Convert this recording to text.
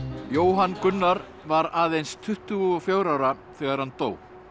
Jóhann Gunnar var aðeins tuttugu og fjögurra ára þegar hann dó